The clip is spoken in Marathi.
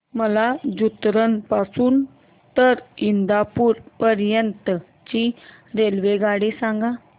मला जुन्नर पासून तर इंदापूर पर्यंत ची रेल्वेगाडी सांगा